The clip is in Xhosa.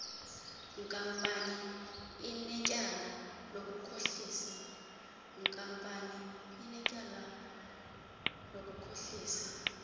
nkampani inetyala lokukhohlisa